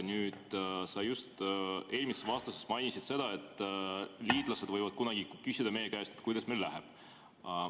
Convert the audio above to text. Sa just eelmises vastuses mainisid, et liitlased võivad kunagi küsida meie käest, kuidas meil läheb.